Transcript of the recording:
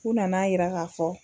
U nana'a yira ka fɔ.